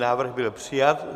Návrh byl přijat.